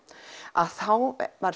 að þá var